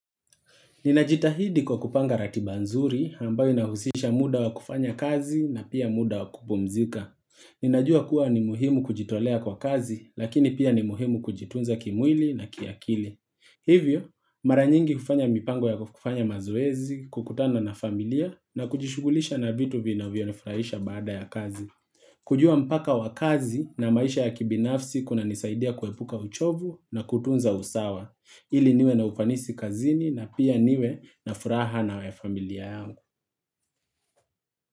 Ninajitahidi kwa kupanga ratiba nzuri ambayo inahusisha muda wa kufanya kazi na pia muda wa kupumzika. Ninajua kuwa ni muhimu kujitolea kwa kazi lakini pia ni muhimu kujitunza kimwili na kiakili. Hivyo, mara nyingi hufanya mipango ya kufanya mazoezi, kukutana na familia na kujishughulisha na vitu vinavyonifurahisha baada ya kazi. Kujua mpaka wa kazi na maisha ya kibinafsi kunanisaidia kuepuka uchovu na kutunza usawa. Ili niwe na ufanisi kazini na pia niwe na furaha na familia yangu.